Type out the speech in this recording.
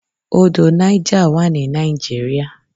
Odò Niger wà ní Nigeria.